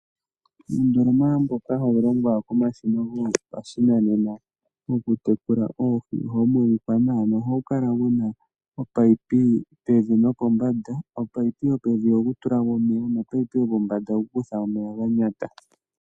Uundoloma mboka hawu longwa komashina gopashinane wokutekula oohi ohawu monika nawa noha wu kala mu na omunino pevi nopombanda. Omunino gopevi ogo ku tulamo omeya ngoka gopombanda ogo ku kuthamo omeya ga nyata.